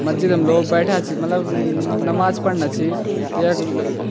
मस्जिदं लोग बैठ्याँ छीं मलब नमाज पढ़ना छी यख ल।